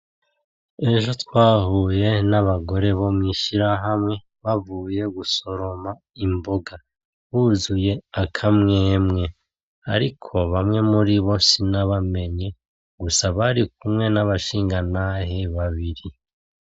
Ejo twahuye n'abagore bo mw'ishirahamwe bavuye gusoroma imboga, buzuye akamwemwe, ariko bamwe muribo sinabamenye gusa barikumwe n'abashingantahe babiri.